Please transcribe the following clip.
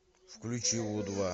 включи у два